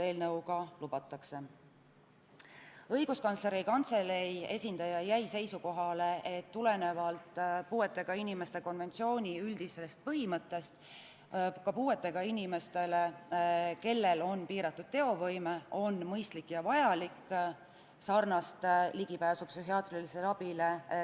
Õiguskantsleri Kantselei esindaja jäi seisukohale, et tulenevalt puuetega inimeste konventsiooni üldisest põhimõttest on ka puuetega inimeste puhul, kellel on piiratud teovõime, mõistlik ja vajalik anda sarnane ligipääs psühhiaatrilisele abile.